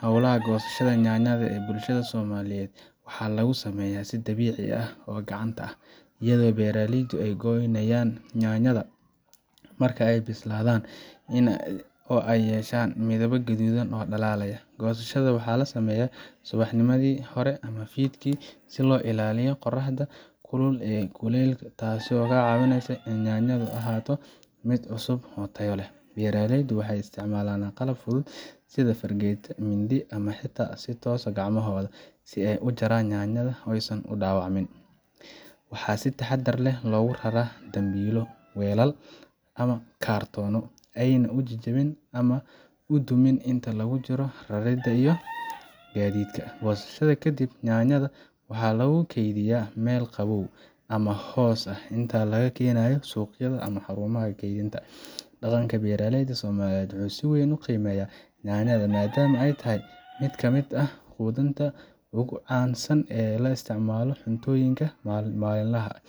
Hawlaha goosashada yaanyada ee bulshada Soomaaliyeed waxaa lagu sameeyaa si dabiici ah oo gacanta ah, iyadoo beeraleydu ay gooyaan yaanyada marka ay bislaadaan oo ay yeeshaan midab guduudan oo dhalaalaya. Goosashada waxaa la sameeyaa subaxnimadii hore ama fiidkii, si looga ilaaliyo qorraxda kulul iyo kulaylka, taasoo ka caawisa in yaanyadu sii ahaato mid cusub oo tayo leh. Beeraleydu waxay isticmaalaan qalab fudud sida fargeeto ama mindi, ama xitaa si toos ah gacmahooda, si ay u jaraan yaanyada oo aysan u dhaawicin. Waxaa si taxaddar leh loogu raraa dambiilo, weelal ama kartoono si aanay u jajabin ama u dumin inta lagu jiro raridda iyo gaadiidka. Goosashada ka dib, yaanyada waxaa lagu kaydiyaa meel qabow ama hoos ah inta laga keenayo suuqyada ama xarumaha kaydinta. Dhaqanka beeraleyda Soomaaliyeed wuxuu si weyn u qiimeeyaa yaanyada maadaama ay tahay mid ka mid ahqudintaugu caansan ee loo isticmaalo cuntooyinka maalinlaha ah.